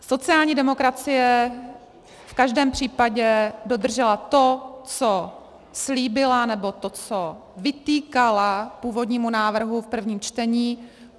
Sociální demokracie v každém případě dodržela to, co slíbila, nebo to, co vytýkala původnímu návrhu v prvním čtení.